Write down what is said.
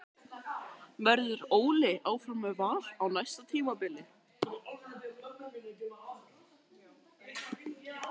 Verður Óli áfram með Val á næsta tímabili?